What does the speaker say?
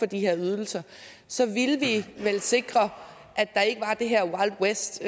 de her ydelser så ville vi vel sikre at der ikke var det her wild west